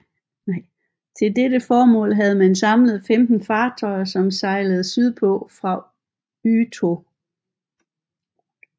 Til dette formål havde man samlet 15 fartøjer som sejlede sydpå fra Utö